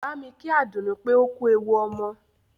Bámi kí Àdùnní pé ó kú ewu ọmọ!